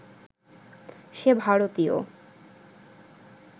সে ভারতীয়